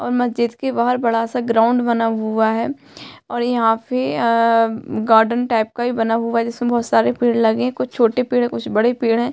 और मस्जिद के बाहर बड़ा सा ग्राउंड बना हुआ है और यहाँ पे अ-म गार्डन टाइप का भी बना हुआ है जिसमें बहोत सारे पेड़ लगे हुए कुछ छोटे पेड़ हैं कुछ बड़े पेड़ हैं।